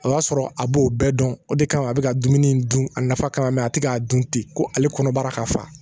A y'a sɔrɔ a b'o bɛɛ dɔn o de kama a be ka dumuni dun a nafa kama a te k'a dun ten ko ale kɔnɔbara ka fa